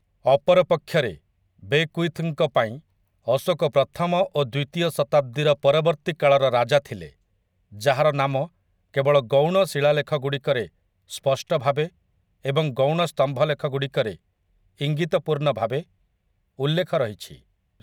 ଅପରପକ୍ଷରେ, ବେକ୍ୱିଥଙ୍କ ପାଇଁ ଅଶୋକ ପ୍ରଥମ ଓ ଦ୍ୱିତୀୟ ଶତାବ୍ଦୀର ପରବର୍ତ୍ତୀ କାଳର ରାଜା ଥିଲେ, ଯାହାର ନାମ କେବଳ ଗୌଣ ଶିଳାଲେଖଗୁଡ଼ିକରେ ସ୍ପଷ୍ଟ ଭାବେ ଏବଂ ଗୌଣ ସ୍ତମ୍ଭଲେଖଗୁଡ଼ିକରେ ଇଙ୍ଗିତପୂର୍ଣଭାବେ ଉଲ୍ଲେଖ ରହିଛି ଏବଂ ଯିଏ ବୌଦ୍ଧଧର୍ମର ପ୍ରଚାର ପାଇଁ ବୁଦ୍ଧ ତଥା ସଙ୍ଘକୁ ଉଲ୍ଲେଖ କରିଛନ୍ତି ।